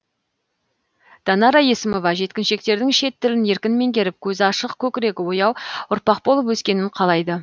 данара есімова жеткіншектердің шет тілін еркін меңгеріп көзі ашық көкірегі ояу ұрпақ болып өскенін қалайды